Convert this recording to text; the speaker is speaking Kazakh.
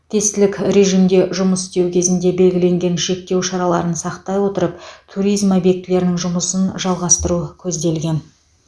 тестілік режимде жұмыс істеу кезінде белгіленген шектеу шараларын сақтай отырып туризм объектілерінің жұмысын жалғастыру көзделген